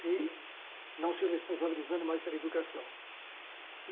se não se responsabilizando mais pela educação.